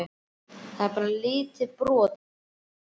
Þetta er bara lítið brot af mér.